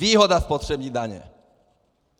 Výhoda spotřební daně.